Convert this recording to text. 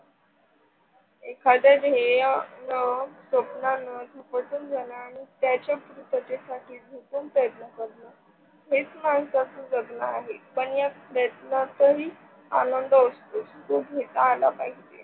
एखाद्या ध्येयान स्वप्नंन झपाटून जाण आणि त्याचा पूर्ततेसाठीसाठी झुकून प्रयत्न कारण हेच माणसाचं जगन आहे. पण या प्रयत्नातही आनंद होतो तो घेत आल पाहिजे.